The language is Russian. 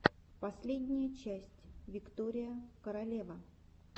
последняя часть виктория королева